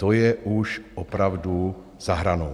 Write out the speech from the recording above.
To je už opravdu za hranou.